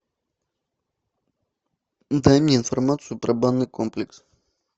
дай мне информацию про банный комплекс